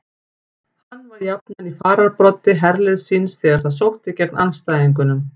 Hann var jafnan í fararbroddi herliðs síns þegar það sótti gegn andstæðingunum.